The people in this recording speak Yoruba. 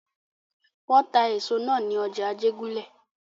Wọ́n ta èso nà ní ọjà Ajégúnlẹ̀.